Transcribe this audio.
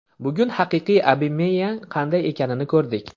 Bugun haqiqiy Obameyang qanday ekanini ko‘rdik.